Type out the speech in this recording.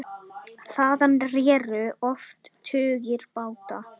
Þaðan réru oft tugir báta.